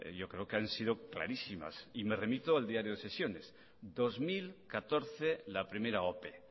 yo creo que ha sido clarísimas y me remito al diario de sesiones dos mil catorce la primera ope